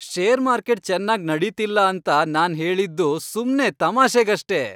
Share market ಚೆನ್ನಾಗ್ ನಡೀತಿಲ್ಲ ಅಂತ ನಾನ್ ಹೇಳಿದ್ದು ಸುಮ್ನೆ ತಮಾಷೆಗಷ್ಟೇ.